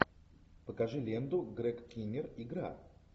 покажи ленту грег киннир игра